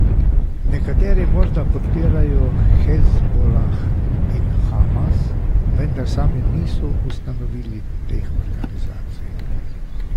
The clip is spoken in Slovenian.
Nekateri morda podpirajo Hezbolah in Hamas, vendar sami niso ustanovili teh organizacij.